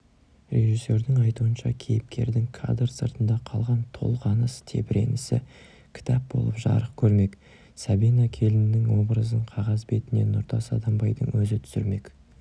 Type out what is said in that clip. режиссердің айтуынша кейіпкердің кадр сыртында қалған толғаныс-тебіренісі кітап болып жарық көрмек сәбина келіннің образын қағаз бетіне нұртас адамбайдың өзі түсірмек